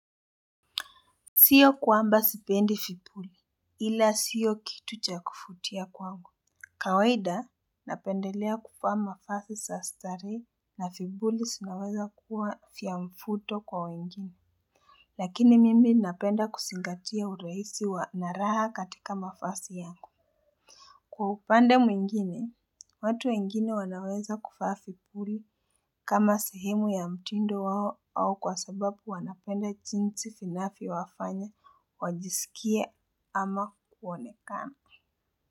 Siyo kwamba sipendi vipuli ila siyo kitu cha kuvutia kwangu. Kawaida, napendelea kuvaa mavazi za starehe na vipuli zinaweza kuwa vya mvuto kwa wengine. Lakini mimi napenda kuzingatia urahisi wa na raha katika mavazi yangu. Kwa upande mwingine, watu wengine wanaweza kuvaa vipuli kama sehemu ya mtindo wao kwa sababu wanapenda jinsi vinawafanya wajisikie ama kuonekana.